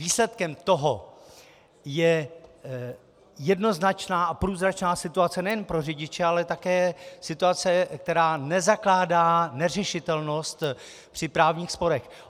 Výsledkem toho je jednoznačná a průzračná situace nejen pro řidiče, ale také situace, která nezakládá neřešitelnost při právních sporech.